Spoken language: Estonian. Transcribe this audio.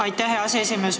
Aitäh, hea aseesimees!